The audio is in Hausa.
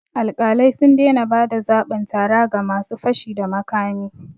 Alƙalai sun daina ba da zabin tara ga ma su fashi da makami